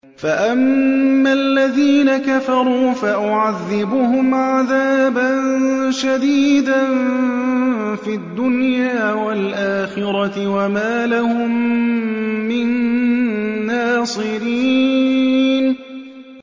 فَأَمَّا الَّذِينَ كَفَرُوا فَأُعَذِّبُهُمْ عَذَابًا شَدِيدًا فِي الدُّنْيَا وَالْآخِرَةِ وَمَا لَهُم مِّن نَّاصِرِينَ